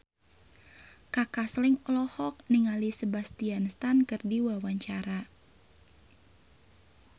Kaka Slank olohok ningali Sebastian Stan keur diwawancara